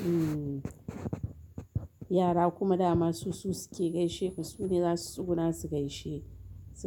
Uhm, yara kuma dama su, su suke gaishe fa su ne za su tsuguna su gaishe, su gaishe.